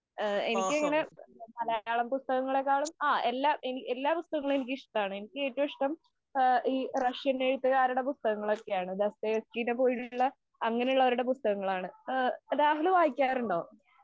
എനിക്ക് ഇങ്ങനെ മലയാളം പുസ്തകത്തെക്കാളും എല്ലാ പുസ്തകങ്ങളും എനിക്ക് ഇഷ്ടമാണ്. എനിക്ക് ഏറ്റവും ഇഷ്ടം ഈ റഷ്യന്‍ എഴുത്തുകാരുടെ പുസ്തകങ്ങളൊക്കെയാണ്. ദസ്തയേവ്‌സ്കിയെഅങ്ങനെയുള്ളവരുടെ പുസ്തകങ്ങളാണ്.രാഹുല് വായിക്കാറുണ്ടോ?